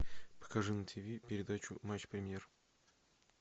покажи на тв передачу матч премьер